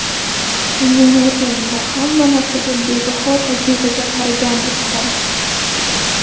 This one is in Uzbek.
Dunyoni o‘rganing va hamma narsaga bebaho tajribaga qaragandek qarang.